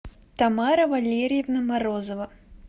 тамара валерьевна морозова